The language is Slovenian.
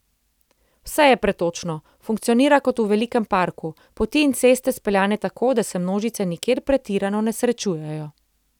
Vse je pretočno, funkcionira kot v velikem parku, poti in ceste speljane tako, da se množice nikjer pretirano ne srečujejo.